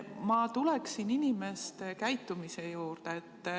Ma tuleksin inimeste käitumise juurde.